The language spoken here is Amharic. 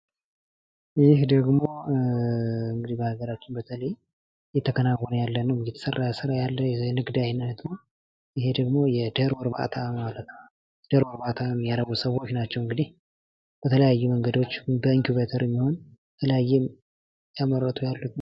ይህ ደግሞ በሀገራችን በተለይ እየተከናወነ ያለ ነው ፤ እየተሰራ ያለ ስራ ነው ይሄ ደግሞ የዶሮ እርባታ ነው ማለት ነው ፤ ዶሮ የሚያረቡ ሰዎች ናቸው እንግዲ በተለያየ መንገድ በ ኢንኪውቤተርም ይሁን በተለያየ መንገድ እያመረቱ ነው ያሉት።